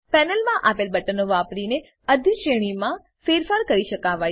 પેનલમાં આપેલ બટનો વાપરીને અધિશ્રેણીમાં ફેરફાર કરી શકાવાય છે